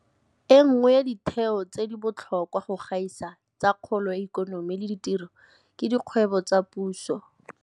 E nngwe ya ditheo tse di botlhokwa go gaisa tsa kgolo ya ikonomi le ditiro ke dikgwebo tsa puso, diSOE.